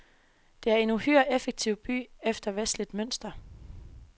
Det er en uhyre effektiv by efter vestligt mønster.